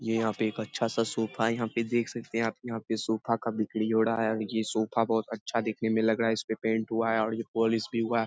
ये यहाँ पे एक अच्छा सा सोफा है। यहाँ पे देख सकते हैं आप यहाँ पे सोफा का बिक्री हो रहा है और ये सोफा बहुत अच्छा दिखने में लग रहा है। इस पे पेंट हुआ है और ये पॉलिश भी हुआ है।